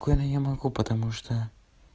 коля я могу потому что